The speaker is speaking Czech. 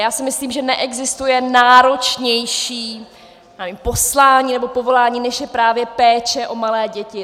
Já si myslím, že neexistuje náročnější poslání nebo povolání, než je právě péče o malé děti.